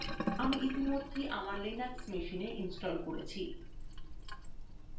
আমি ইতিমধ্যেই আমার লিনাক্সমেশিনে ইনস্টল করেছি